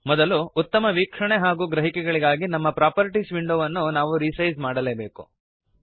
ಮೊದಲು ಉತ್ತಮ ವೀಕ್ಷಣೆ ಮತ್ತು ಗ್ರಹಿಕೆಗಳಿಗಾಗಿ ನಮ್ಮ ಪ್ರಾಪರ್ಟೀಸ್ ವಿಂಡೋವನ್ನು ನಾವು ರಿಸೈಜ್ ಮಾಡಲೇಬೇಕು